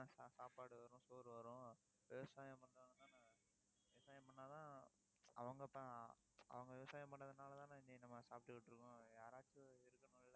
சாப்பாடு வரும் சோறு வரும். விவசாயம் பண்றவங்கதானே விவசாயம் பண்ணாதான் அவங்க அவங்க விவசாயம் பண்ணதுனாலதானே இன்னைக்கு நம்ம சாப்பிட்டுக்கிட்டு இருக்கோம். யாராச்சும் இருக்கணும் இல்ல